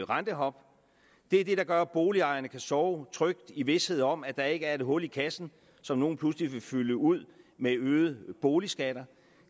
rentehop det er det der gør at boligejerne kan sove trygt i vished om at der ikke er et hul i kassen som nogle pludselig vil fylde ud med øgede boligskatter